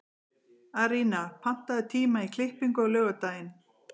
Arína, pantaðu tíma í klippingu á laugardaginn.